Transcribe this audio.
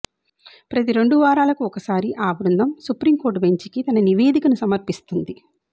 ప్రతి రెండువారాలకు ఒ క సారి ఆ బృందం సుప్రీంకోర్టు బెంచ్కి తన నివేదికను సమ ర్పిస్తుంది